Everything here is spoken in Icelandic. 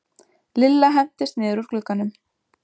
Lilla hentist niður úr glugganum.